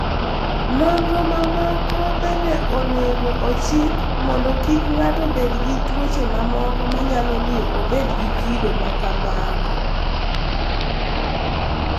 Nonro mamoko bende onego ochik mondo kik ng'ato bed gi tuoche mamoko manyalo miyo obed gi kido ma kamago.